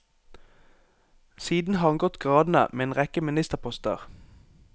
Siden har han gått gradene med en rekke ministerposter.